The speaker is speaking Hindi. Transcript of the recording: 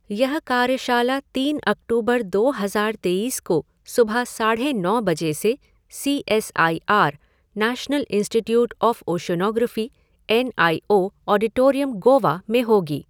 यह कार्यशाला तीन अक्टूबर दो हज़ार तेईस को सुबह साढ़े नौ बजे से C S I R, national institute of oceanography, N I O auditorium, Goa में होगी।